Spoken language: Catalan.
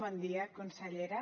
bon dia consellera